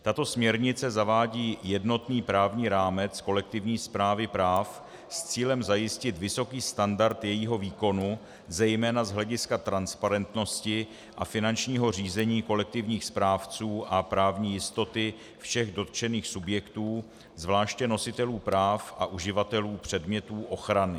Tato směrnice zavádí jednotný právní rámec kolektivní správy práv s cílem zajistit vysoký standard jejího výkonu zejména z hlediska transparentnosti a finančního řízení kolektivních správců a právní jistoty všech dotčených subjektů, zvláště nositelů práv a uživatelů předmětů ochrany.